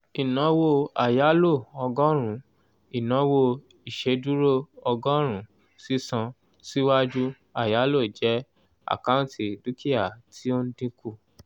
ìnáwó àyálò ọgọ́rùn-ún ìnáwó ìṣèdúró ọgọ́rùn-ùn sísan síwájú àyáló jẹ́ àkáǹtì dúkìá tí ó ń dínkù